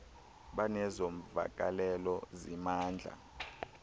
banezo mvakalelo zimandla